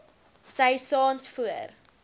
sy saans voor